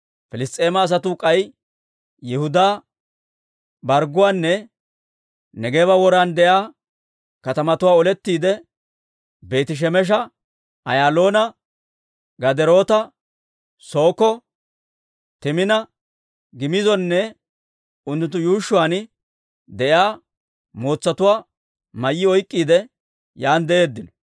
Piliss's'eema asatuu k'ay Yihudaa bargguwaanne Neegeeba woran de'iyaa katamatuwaa olettiide Beeti-Shemesha, Ayaaloona, Gaderoota, Sookko, Timina, Giimizonne unttunttu yuushshuwaan de'iyaa mootsatuwaa mayyi oyk'k'iide, yaan de'eeddino.